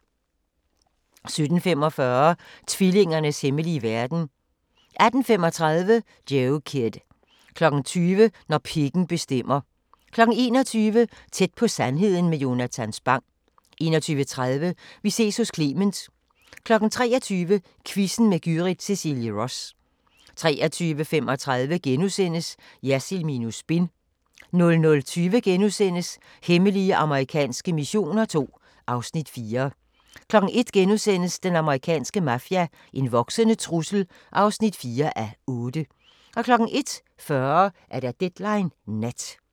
17:45: Tvillingernes hemmelige verden 18:35: Joe Kidd 20:00: Når pikken bestemmer 21:00: Tæt på sandheden med Jonatan Spang 21:30: Vi ses hos Clement 23:00: Quizzen med Gyrith Cecilie Ross 23:35: Jersild minus spin * 00:20: Hemmelige amerikanske missioner II (Afs. 4)* 01:00: Den amerikanske mafia: En voksende trussel (4:8)* 01:40: Deadline Nat